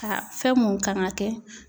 Ka fɛn mun kan ka kɛ.